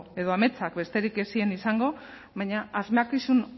edo ametsak besterik ez ziren izango baina asmakizun